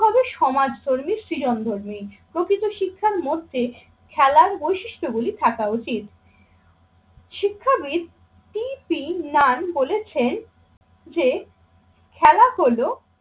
হবে সমাজকর্মী সৃজন ধর্মী। প্রকৃত শিক্ষার মধ্যে খেলার বৈশিষ্ট্যগুলি থাকা উচিত। শিক্ষাবিদ টি পি নান বলেছেন যে খেলা হল